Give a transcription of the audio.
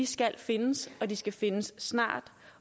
skal findes de skal findes snart